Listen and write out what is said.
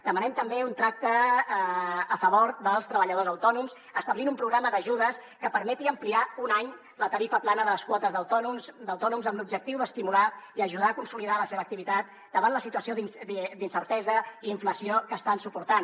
demanem també un tracte a favor dels treballadors autònoms establint un programa d’ajudes que permeti ampliar un any la tarifa plana de les quotes d’autònoms amb l’objectiu d’estimular i ajudar a consolidar la seva activitat davant la situació d’incertesa i inflació que estan suportant